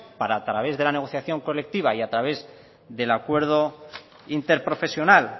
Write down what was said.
para a través de la negociación colectiva y a través del acuerdo interprofesional